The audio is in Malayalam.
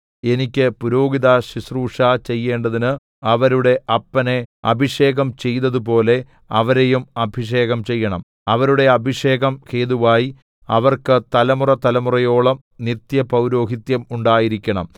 എനിക്ക് പുരോഹിതശുശ്രൂഷ ചെയ്യേണ്ടതിന് അവരുടെ അപ്പനെ അഭിഷേകം ചെയ്തതുപോലെ അവരെയും അഭിഷേകം ചെയ്യണം അവരുടെ അഭിഷേകം ഹേതുവായി അവർക്ക് തലമുറതലമുറയോളം നിത്യപൌരോഹിത്യം ഉണ്ടായിരിക്കണം